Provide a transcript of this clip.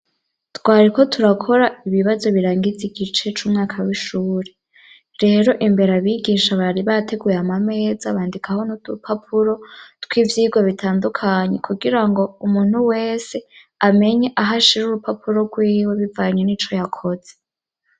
Twariko turakora ibibazo birangiza igice c'umwaka w'ishure, rero imbere abigisha bari bateguye amameza bandikaho n'udurupapuro tw'ivyigwa bitandukanye kugirango umuntu wese amenye aho ashira urupapuro rwiwe bivanye n'ico yakoze.